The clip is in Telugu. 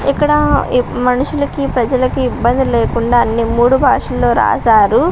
ఇక్కడ మనుషులకి ప్రజలకి ఇబ్బంది లేకుండా అన్నీ మూడు భాషల్లో రాశారు.